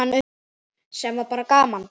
Sem var bara gaman.